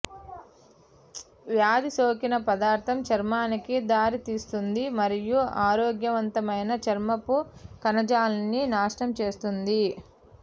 వ్యాధి సోకిన పదార్థం చర్మానికి దారితీస్తుంది మరియు ఆరోగ్యవంతమైన చర్మపు కణజాలాన్ని నాశనం చేస్తుంది